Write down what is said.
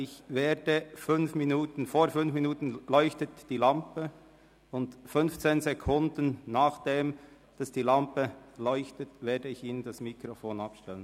Kurz vor Ablauf der erlaubten fünf Minuten Redezeit leuchtet die Lampe, und fünfzehn Sekunden danach werde ich Ihnen das Mikrofon abschalten.